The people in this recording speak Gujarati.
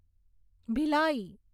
ભિલાઈ